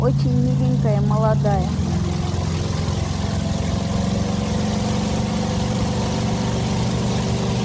очень миленькая молодая